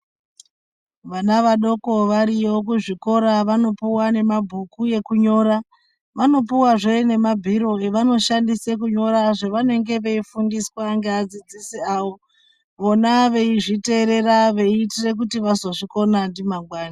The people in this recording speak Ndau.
Vana vadoko kwavariyo kuzvikora vanopuwa mabhuku ekunyora vanopuwazve mabhiro avanoshandisa kunyora zvavanenge veifundiswa nevadzidzisi avo vova veizviterera kuti vazodzidzisa mangwani.